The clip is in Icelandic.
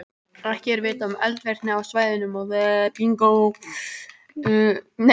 Ekki er vitað um eldvirkni á svæðinu þennan tíma.